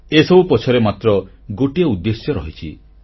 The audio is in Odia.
ଏସବୁ ପଛରେ ମାତ୍ର ଗୋଟିଏ ଉଦ୍ଦେଶ୍ୟ ରହିଛି